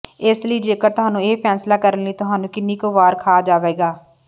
ਇਸ ਲਈ ਜੇਕਰ ਤੁਹਾਨੂੰ ਇਹ ਫੈਸਲਾ ਕਰਨ ਲਈ ਤੁਹਾਨੂੰ ਕਿੰਨਾ ਕੁ ਵਾਰ ਖਾ ਜਾਵੇਗਾ